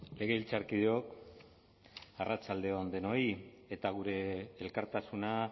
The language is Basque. legebiltzarkideok arratsalde on denoi eta gure elkartasuna